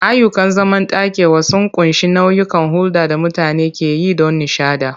Ayyukan zamantakewa sun ƙunshi nau'ikan hulɗar da mutane ke yi don nishaɗi.